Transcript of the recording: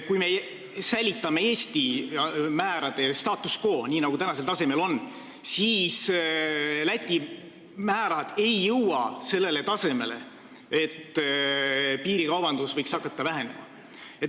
Kui me säilitame Eesti määrade puhul status quo, siis Läti määrad ei jõua sellele tasemele, et piirikaubandus võiks hakata vähenema.